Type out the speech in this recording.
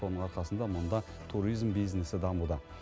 соның арқасында мұнда туризм бизнесі дамуда